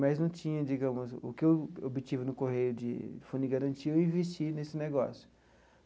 Mas não tinha digamos o que eu obtive no Correio de Fundo de Garantia, eu investi nesse negócio.